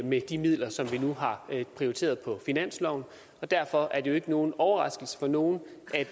med de midler som vi nu har prioriteret på finansloven og derfor er det jo ikke nogen overraskelse for nogen